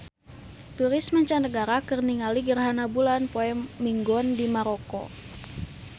Turis mancanagara keur ningali gerhana bulan poe Minggon di Maroko